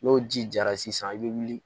N'o ji jara sisan i bɛ wuli